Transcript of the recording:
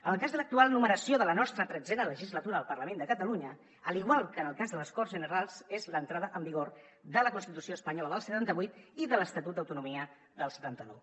en el cas de l’actual numeració de la nostra tretzena legislatura del parlament de catalunya a l’igual que en el cas de les corts generals és l’entrada en vigor de la constitució espanyola del setanta vuit i de l’estatut d’autonomia del setanta nou